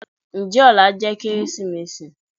njẹ òlá jẹ Kérésímèsí?